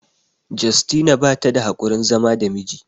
Justina bata da haƙurin zama da miji